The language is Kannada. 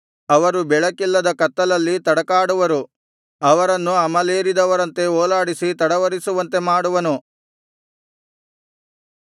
ಅವರು ಬೆಳಕಿಲ್ಲದ ಕತ್ತಲಲ್ಲಿ ತಡಕಾಡುವರು ಅವರನ್ನು ಅಮಲೇರಿದವರಂತೆ ಓಲಾಡಿಸಿ ತಡವರಿಸುವಂತೆ ಮಾಡುವನು